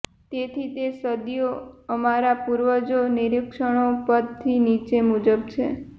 તેથી તે સદીઓ અમારા પૂર્વજો નિરીક્ષણો પરથી નીચે મુજબ છે